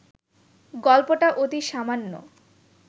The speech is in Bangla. গল্পটা অতি সামান্য